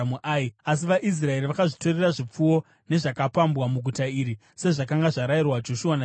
Asi vaIsraeri vakazvitorera zvipfuwo nezvakapambwa muguta iri, sezvakanga zvarayirwa Joshua naJehovha.